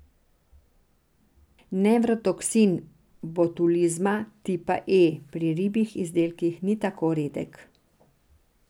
Nevrotoksin botulizma tipa E pri ribjih izdelkih ni tako redek.